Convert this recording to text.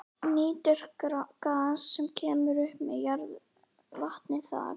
Nýtir gas sem kemur upp með jarðhitavatni þar.